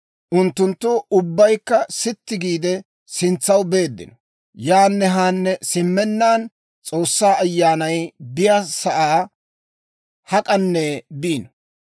Unttunttu ubbaykka sitti giide sintsaw beeddino; yaanne haanne simmennaan, S'oossaa Ayyaanay biyaasaa hak'anne biino.